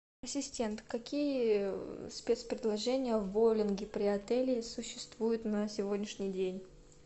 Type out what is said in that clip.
ассистент какие спецпредложения в боулинге при отеле существуют на сегодняшний день